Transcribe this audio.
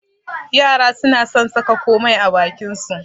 Yara suna son saka komai a bakin su.